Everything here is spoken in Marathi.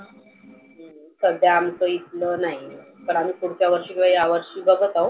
सध्या आमच इथल नाही. पण आम्ही पुढच्या वर्षी किंवा या वर्षी बघत आहोत.